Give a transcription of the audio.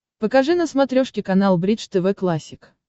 покажи на смотрешке канал бридж тв классик